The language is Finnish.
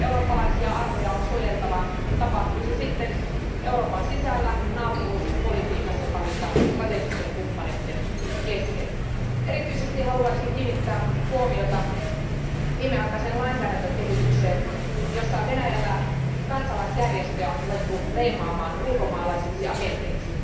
Eurooppalaisia arvoja on suojeltava, tapahtui se sitten Euroopan sisällä, naapuruuspolitiikassa taikka strategisten kumppaneiden kesken. Erityisesti haluaisin kiinnittää huomiota viimeaikaiseen lainsäädäntökehitykseen, jossa Venäjällä kansalaisjärjestöjä on ruvettu leimaamaan ulkomaalaisiksi agenteiksi.